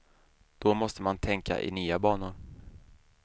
Då måste man tänka i nya banor.